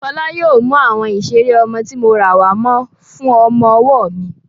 Fọlá yóò mú àwọn ìseré ọmọ tí mo rà wàá Mo fún ọmọ-ọwọ́ mi